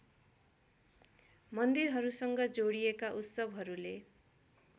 मन्दिरहरूसँग जोडिएका उत्सवहरूले